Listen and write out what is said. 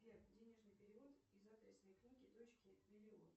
сбер денежный перевод из адресной книги дочке миллион